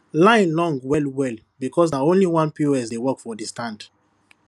line long well well because na only one pos dey work for the stand